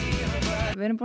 við erum